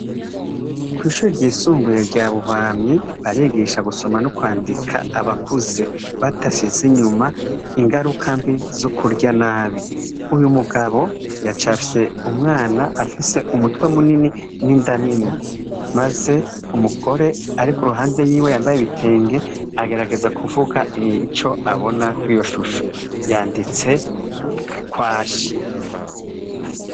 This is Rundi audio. Kw'ishuri ryisumbuye rya Buhwamyi, barigisha gusoma no kwandika abakuze, badasize inyuma ingaruka mbi zo kurya nabi. Uyu mugabo yacafye umwana afise umutwe munini n'inda nini. Maze umugore ari ku ruhande yiwe yambaye ibitenge, agerageza kuvuga ico abona kw'iyo shusho. Yanditse kwashi.